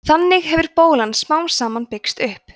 þannig hefur bólan smám saman byggst upp